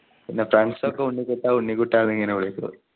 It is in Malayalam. പിന്നെ friends ഒക്കെ ഉണ്ണിക്കുട്ടാ ഉണ്ണിക്കുട്ടാ ന്നിങ്ങനെ വിളിക്കും